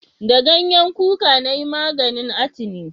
Da ganyen kuka na yi maganin atini